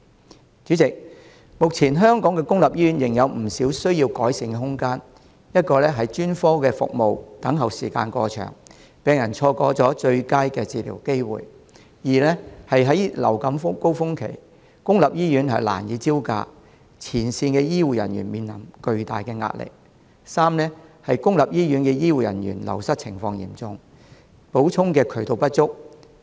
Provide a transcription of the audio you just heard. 代理主席，目前香港公立醫院仍有不少需要改善的空間：一是專科服務等候時間過長，病人錯過最佳的治療機會；二是在流感高峰期，公立醫院難以招架，前線醫護人員面臨巨大壓力；三是公立醫院醫護人員流失情況嚴重，補充的渠道不足。